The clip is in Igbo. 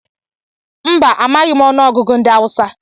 Mba, amaghị m ọnụ ọgụgụ ndị Awusa.